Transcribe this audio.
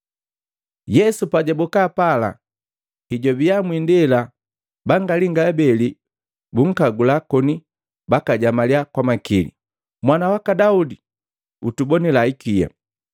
Yesu pajaboka pala, hejwabia mwiindela bangalinga abeli bunkagula koni bakajamaliya kwa makili, “Mwana waka Daudi, utubonila ikia.”